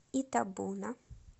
итабуна